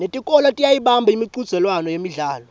netikolwa tiyayibamba imicudzelwano yemidlalo